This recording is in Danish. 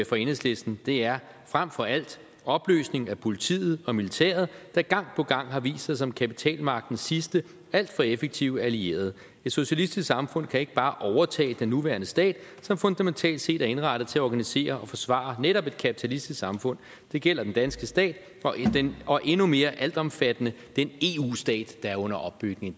for enhedslisten er frem for alt opløsning af politiet og militæret der gang på gang har vist sig som kapitalmagtens sidste alt for effektive allierede et socialistisk samfund kan ikke bare overtage den nuværende stat som fundamentalt set er indrettet til at organisere og forsvare netop et kapitalistisk samfund det gælder den danske stat og endnu mere altomfattende den eu stat der er under opbygning